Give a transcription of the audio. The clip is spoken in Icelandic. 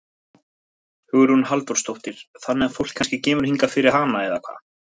Hugrún Halldórsdóttir: Þannig að fólk kannski kemur hingað fyrir hana eða hvað?